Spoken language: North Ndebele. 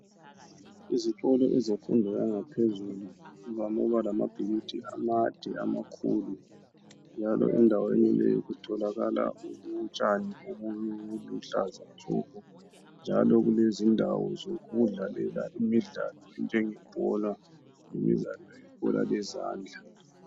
Izikolo zemfundo yangaphezulu zivame ukuba lamabhilidi amade amakhulu njalo endaweni le kutholakala utshani obuluhlaza tshoko njalo kulezindawo zokudlalela imidlalo enjengeyebhola ibhola lezandla